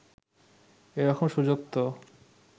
এরকম সুযোগ তো